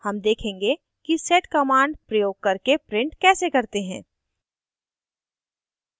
हम देखेंगे कि sed command प्रयोग करके print कैसे करते हैं